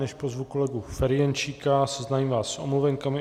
Než pozvu kolegu Ferjenčíka, seznámím vás s omluvenkami.